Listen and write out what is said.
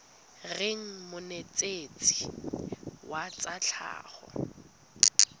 reng monetetshi wa tsa tlhago